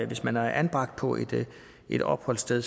hvis man er anbragt på et opholdssted